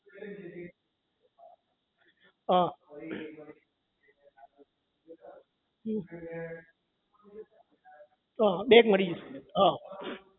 એટલે આજે question paper ધારો કે મેં question કે જે training છે એ હું પાસ થઇ ગયો બરાબર ફરી એ મને કહેશે કે આ જગ્યા એ જતા રહો